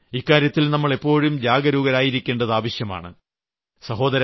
അതുകൊണ്ട് ഇക്കാര്യത്തിൽ നാം എപ്പോഴും ജാഗരൂകരായിരിക്കേണ്ടത് ആവശ്യമാണ്